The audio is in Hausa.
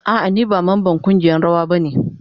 A'a ni ba mamban kungiyan rawa ba ne.